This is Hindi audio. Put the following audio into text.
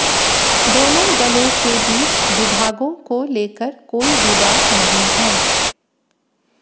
दोनों दलों के बीच विभागों को लेकर कोई विवाद नहीं है